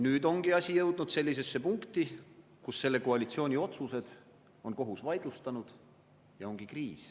Nüüd ongi asi jõudnud sellisesse punkti, kus kohus on selle koalitsiooni otsused vaidlustanud, ja ongi kriis.